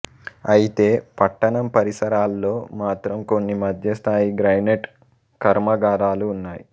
అయితే పట్టణం పరిసరాల్లో మాత్రం కొన్ని మధ్య స్థాయి గ్రానైట్ కర్మాగారాలు ఉన్నాయి